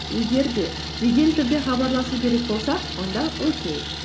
егер де жедел түрде хабарласу керек болса онда окей